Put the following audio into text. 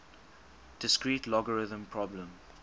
discrete logarithm problem